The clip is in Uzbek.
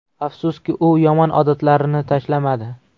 Afsuski, u yomon odatlarini tashlamadi.